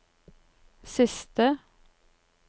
siste